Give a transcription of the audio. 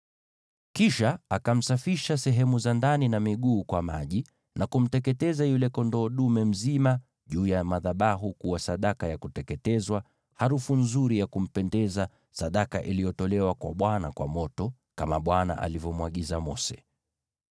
Kisha akamsafisha sehemu za ndani na miguu kwa maji, na kumteketeza yule kondoo dume mzima juu ya madhabahu kuwa sadaka ya kuteketezwa, harufu nzuri ya kupendeza, sadaka iliyotolewa kwa Bwana kwa moto, kama Bwana alivyomwagiza Mose.